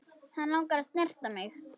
Hann langar að snerta mig.